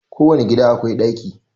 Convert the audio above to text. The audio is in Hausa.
Kowane gida akwai daki